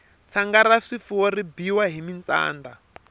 tshanga ra swifuwo ri biyiwa hi mintsanda